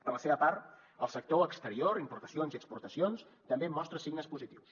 per la seva part el sector exterior importacions i exportacions també mostra signes positius